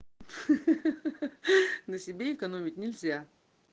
ха-ха-ха на себе экономить нельзя